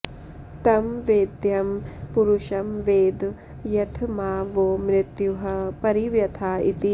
तं वेद्यं पुरुषं वेद यथ मा वो मृत्युः परिव्यथा इति